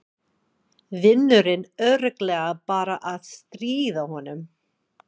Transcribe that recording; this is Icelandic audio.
Vinurinn örugglega bara að stríða honum.